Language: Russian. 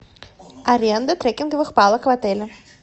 аренда трекинговых палок в отеле